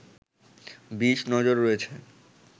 বিষ নজর রয়েছে